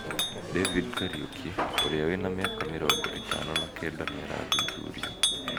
David Kariuki, ũrĩa wĩna mĩaka mĩrongo ĩtano na kenda nĩarathuthurio.